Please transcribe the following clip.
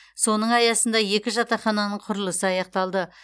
соның аясында екі жатақхананың құрылысы аяқталды